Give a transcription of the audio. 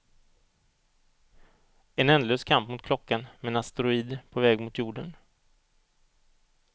En ändlös kamp mot klockan med en asteroid på väg mot jorden.